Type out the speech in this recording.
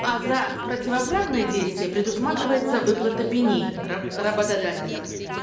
а за противоправные действия предусматривается выплата пени работодателем